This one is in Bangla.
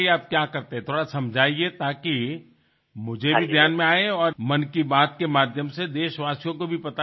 আপনি ঠিক কি করেন কিছুটা বোঝান যাতে আমিও বুঝি এবং মন কি বাত এর মাধ্যমে দেশবাসীও জানতে পারেন